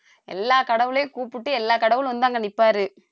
எல்லா கடவுளையும் கூப்பிட்டா எல்லா கடவுளும் வந்து அங்க நிப்பாரு